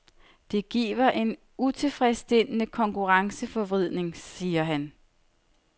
Det giver en utilfredsstillende konkurrenceforvridning, siger han.